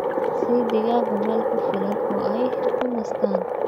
Sii digaagga meel ku filan oo ay ku nastaan.